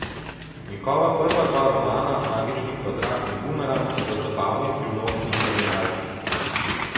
Njegova prva dva romana, Magični kvadrat in Bumerang, sta zabavni, skrivnostni kriminalki.